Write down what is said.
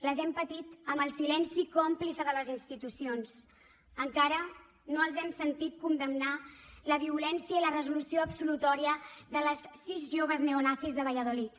les hem patit amb el silenci còmplice de les institucions encara no els hem sentit condemnar la violència i la resolució absolutòria de les sis joves neonazis de valladolid